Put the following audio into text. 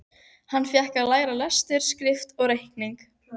Hann fékk að læra lestur og skrift og reikning.